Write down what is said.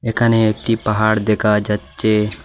একানে একটি পাহাড় দেকা যাচ্চে।